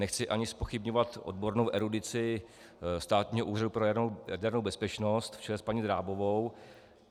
Nechci ani zpochybňovat odbornou erudici Státního úřadu pro jadernou bezpečnost v čele s paní Drábovou.